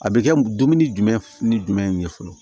A bɛ kɛ dumuni jumɛn ni jumɛn ye fɔlɔ